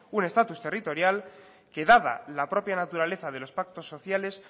un estatus territorial que dada la propia naturaleza de los pactos sociales